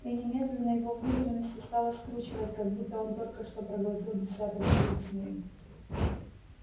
и немедленно его внутренности стало скручивать как будто он только что проглотил десяток живых змей